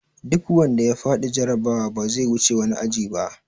Duk wanda ya faɗi jarabawa ba zai wuce wani aji ba!